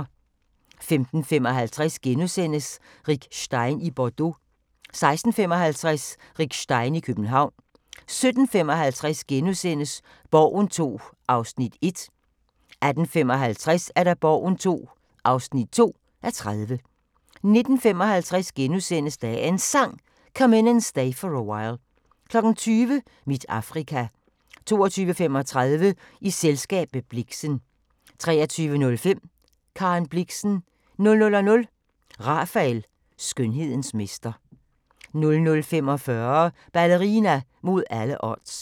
15:55: Rick Stein i Bordeaux * 16:55: Rick Stein i København 17:55: Borgen II (1:30)* 18:55: Borgen II (2:30) 19:55: Dagens Sang: Come In And Stay For A While * 20:00: Mit Afrika 22:35: I selskab med Blixen 23:05: Karen Blixen 00:00: Rafael – skønhedens mester 00:45: Ballerina mod alle odds